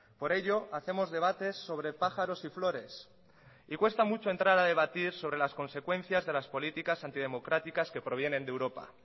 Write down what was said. por ello hacemos debates sobre pájaros y flores y cuesta mucho entrar a debatir sobre las consecuencias de las políticas antidemocráticas que provienen de europa